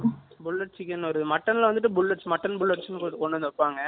bullet chicken வரும் mutton ல வந்துட்டு மட்ட்ன் புல்லெட் நு கொண்டு வந்து வைபாங்க